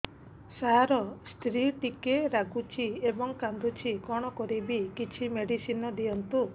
ସାର ସ୍ତ୍ରୀ ଟିକେ ରାଗୁଛି ଏବଂ କାନ୍ଦୁଛି କଣ କରିବି କିଛି ମେଡିସିନ ଦିଅନ୍ତୁ